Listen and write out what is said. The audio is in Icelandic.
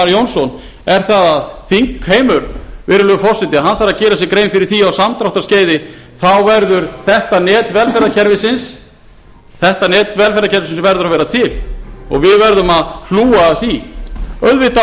jónsson er það að þingheimur virðulegi forseti þarf að gera sér grein fyrir því á samdráttarskeiði þá verður þetta net velferðarkerfisins að vera til og við verðum að hlúa að